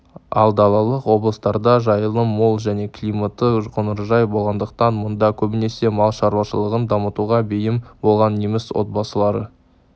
ал далалық облыстарда жайылым мол және климаты қоңыржай болғандықтан мұнда көбінесе мал шаруашылығын дамытуға бейім болған неміс отбасылары